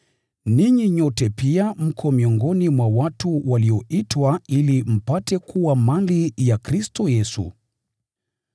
Ninyi nyote pia mko miongoni mwa watu walioitwa ili mpate kuwa mali ya Yesu Kristo.